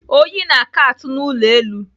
Oyi na-aka atụ n'ụlọ elu.